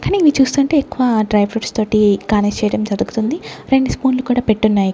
కాని ఇవి చూస్తుంటే ఎక్కువ డైప్రూట్స్ తోటి గార్నిష్ చేయటం జరుగుతుంది రెండు స్పూన్లు కూడా పెట్టున్నాయ్.